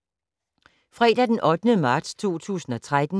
Fredag d. 8. marts 2013